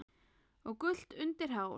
og gult undir hár.